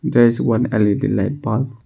There is one L_E_D light bulb.